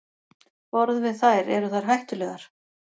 Borðum við þær, eru þær hættulegar?